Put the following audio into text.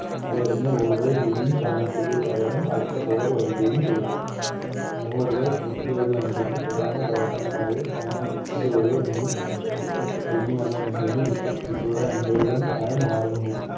അതെറിഞ്ഞ Bowler കൾ Fielding സ്ഥാനത്തേക്ക് പകരം അടുത്ത Bowler വരുകയും ചെയ്യണം Bowler കൾ പൂർത്തിയാകുന്നതിനനുസരിച്ച് പ്രധാന Batsman മാരെ സ്ഥാനം Pitch ൻറെ ൽ നിന്നും മറ്റേ അറ്റത്തേക്കും അതനുസരിച്ച് Wicketkeeper ടെ Umpire ടെ സ്ഥാനം മാറുന്നു